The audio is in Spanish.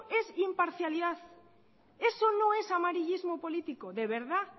es imparcialidad eso no es amarillismo político de verdad